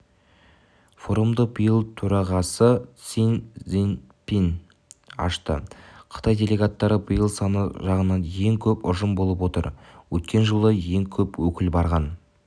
форумды биыл төрағасыси цзиньпин ашты қытай делегаттары биыл саны жағынан ең көп ұжым болып отыр өткен жылы ең көп өкіл барған